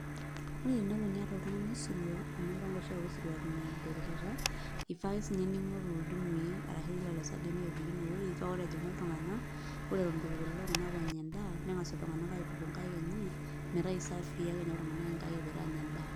ore tenelo niata oltungai osirua, amu impanga oshiak eosirua eton eedo erishata, ifaa ake sii ninye, ning'oru ildimui arashu lelo sademi oopiki ine wueji, paa ore ejing'u iltunganak ore eton eitu epuo lelo tunganak aing'oru edaa, nengas iltunganak aituku inkai enye, metaa aisaii ake ninye iltunganak inkaik epoito aanya edaa.